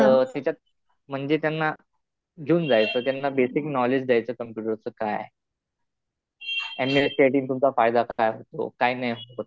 तर त्याच्यात म्हणजे त्यांना घेऊन जायचं. त्यांना बेसिक नॉलेज द्यायचं. कम्प्युटर काय आहे. M S C I T ने तुमचा फायदा काय होतो. काय नाही होत.